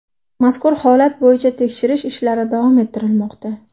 Mazkur holat bo‘yicha tekshirish ishlari davom ettirilmoqda.